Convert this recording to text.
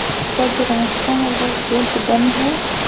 का जो रास्ता हैं वो गेट बंद हैं।